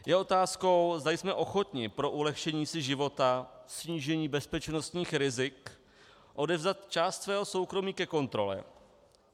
Je otázkou, zda jsme ochotni pro ulehčení si života, snížení bezpečnostních rizik odevzdat část svého soukromí ke kontrole.